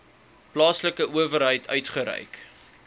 plaaslike owerheid uitgereik